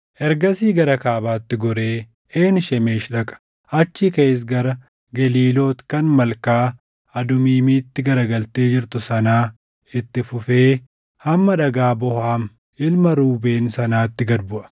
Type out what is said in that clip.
Ergasii gara kaabaatti goree Een Shemeshi dhaqa; achii kaʼees gara Geliiloot kan Malkaa Adumiimitti gara galtee jirtu sanaa itti fufee hamma Dhagaa Boohan ilma Ruubeen sanaatti gad buʼa.